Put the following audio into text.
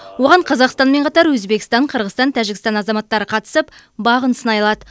оған қазақстанмен қатар өзбекстан қырғызстан тәжікстан азаматтары қатысып бағын сынай алады